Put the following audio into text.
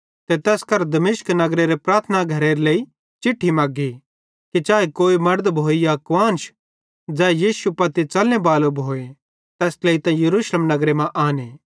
ते तैस करां दमिश्क नगरेरे प्रार्थना घरां केरे लेइ चिट्ठी मेग्गी कि चाए कोई मड़द भोए या कुआन्श ज़ै यीशु पत्ती च़लने बालो भोए तैस ट्लेइतां यरूशलेम नगरे मां आने